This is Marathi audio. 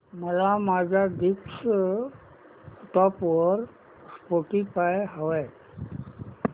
मला माझ्या डेस्कटॉप वर स्पॉटीफाय हवंय